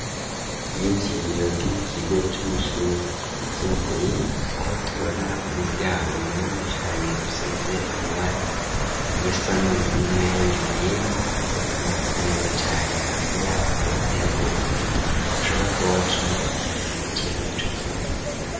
Iy'injiro ryo mu kigo c'amashure yisumbuye aho tubona umuryango munini cane usize amabara y'era n'uburu nayandi yera zibigatuma hasa neza cane hanze yaho akabare hariho umuduga ushobora kuba wa jemo umuntu yinjiyemo yico kigo.